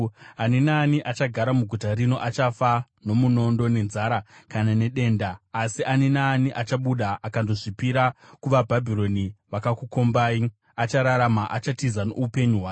Ani naani achagara muguta rino achafa nomunondo, nenzara kana nedenda. Asi ani naani achabuda akandozvipira kuvaBhabhironi vakakukombai achararama; achatiza noupenyu hwake.